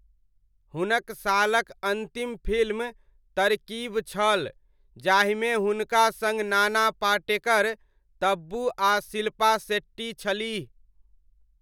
हुनक सालक अन्तिम फिल्म तरकीब छल, जाहिमे हुनका सङ्ग नाना पाटेकर, तब्बू आ शिल्पा शेट्टी छलीह।